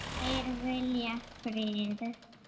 Þeir vilja frið.